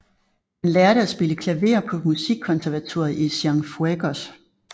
Han lærte at spille klaver på musikkonservatoriet i Cienfuegos